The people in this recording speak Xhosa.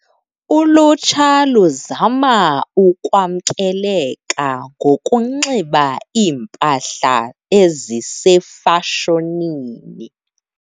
Ulutsha luzama ukwamkeleka ngokunxiba iimpahla ezisefashonini.